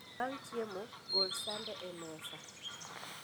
Bang' chiemo gol sende e mesa